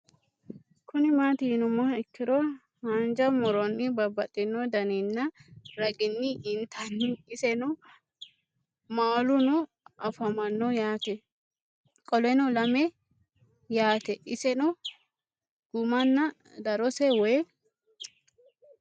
Kuni mati yinumoha ikiro hanja muroni babaxino daninina ragini intani iseno maaluno afamano yaate qoleno lame yaate iseno gumana darose woyi?